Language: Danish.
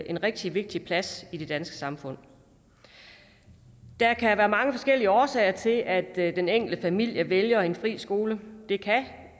en rigtig vigtig plads i det danske samfund der kan være mange forskellige årsager til at den enkelte familie vælger en fri skole det kan